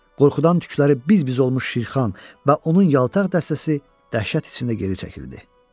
Qorxudan tükləri biz-biz olmuş Şirxan və onun yaltaq dəstəsi dəhşət içində geri çəkildi.